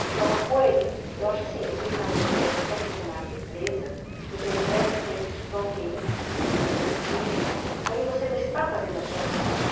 Porque é uma coisa, eu acho assim, você está na empresa, você é funcionário da empresa, você presta serviço para alguém, para um executivo, aí você não está fazendo à sua vontade.